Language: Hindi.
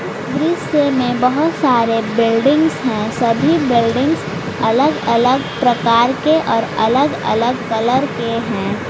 इस दृश्य में बहुत सारे बिल्डिंग्स है सभी बिल्डिंग्स अलग-अलग प्रकार के और अलग-अलग कलर के हैं।